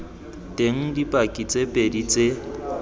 teng dipaki tse pedi tse